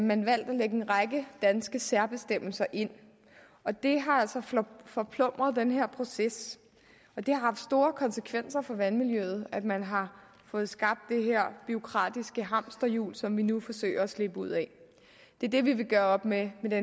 man valgt at lægge en række danske særbestemmelser ind og det har altså forplumret den her proces og det har store konsekvenser for vandmiljøet at man har fået skabt det her bureaukratiske hamsterjul som vi nu forsøger at slippe ud af det er det vi vil gøre op med med det